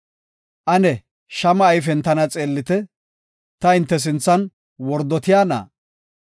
Ane shama ayfen tana xeellite; ta hinte sinthan wordotiyana?